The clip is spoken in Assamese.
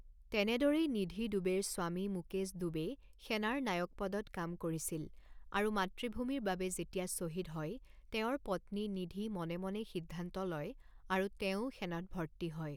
তেনেদৰেই নিধি দুবেৰ স্বামী মুকেশ দুবে সেনাৰ নায়ক পদত কাম কৰিছিল আৰু মাতৃভূমিৰ বাবে যেতিয়া শ্বহীদ হয়, তেওঁৰ পত্নী নিধি মনে মনে সিদ্ধান্ত লয় আৰু তেৱোঁ সেনাত ভৰ্তি হয়।